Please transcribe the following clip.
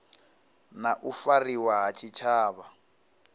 na u fariwa ha tshitshavha